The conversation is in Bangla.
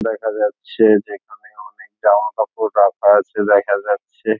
দেখা যাচ্ছে যে এখানে অনেক জামা কাপড় রাখা আছে দেখা যাচ্ছে ।